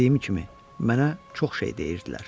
Dediyim kimi, mənə çox şey deyirdilər.